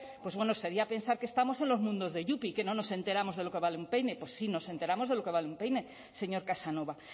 pues bueno sería pensar que estamos en los mundos de yupi que no nos enteramos de lo que vale un peine pues sí nos enteramos de lo que vale un peine señor casanova